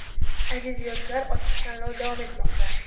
Aziz yoshlar ochiq tanlov davom etmoqda.